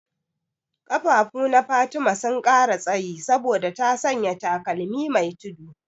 Ƙafafuna Fatima sun ƙara tsayi saboda ta sanya takalmi me tudu.